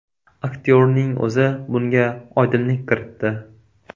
Aktyorning o‘zi bunga oydinlik kiritdi .